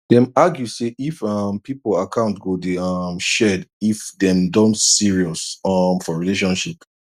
dem argue say if um people account go dey um shared if dem don serious um for relationship